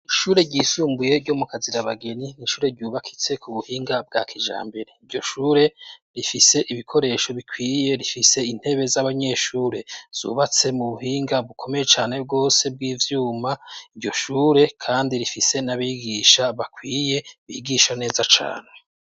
Ishure ryisumbuye ryo mu Kazirabageni, n'ishure ryubakitse ku buhinga bwa kijambere, iryo shure, rifise ibikoresho bikwiye, rifise intebe z'abanyeshure zubatse mu buhinga bukomeye cane rwose bw'ivyuma, iryo shure kandi, rifise n'abigisha bakwiye bigisha neza cane.